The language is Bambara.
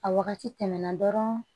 A wagati tɛmɛna dɔrɔn